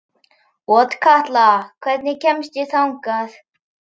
Otkatla, hvernig kemst ég þangað?